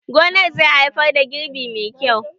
Gonan zai haifar da girbi mai kyau